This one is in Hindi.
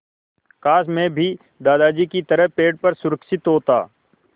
काश मैं भी दादाजी की तरह पेड़ पर सुरक्षित होता